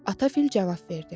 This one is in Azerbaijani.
Ata fil cavab verdi.